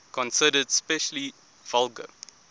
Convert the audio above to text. considered especially vulgar